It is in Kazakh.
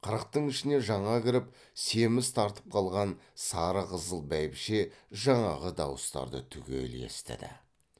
қырықтың ішіне жаңа кіріп семіз тартып қалған сары қызыл бәйбіше жаңағы дауыстарды түгел естіді